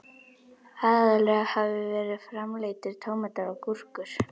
Aðallega hafa verið framleiddir tómatar og gúrkur.